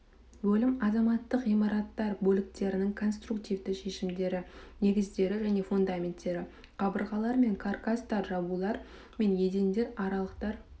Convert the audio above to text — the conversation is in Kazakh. бөлім азаматтық ғимараттар бөліктерінің конструктивті шешімдері негіздері және фундаменттері қабырғалар және каркастар жабулар мен едендер аралықтар